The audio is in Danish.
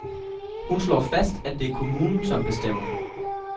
Hun slår fast, at det er kommunen, som bestemmer.